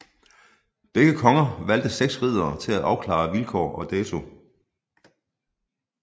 Begge konger valgte seks riddere til at afklare vilkår og dato